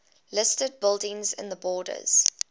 listed buildings in the borders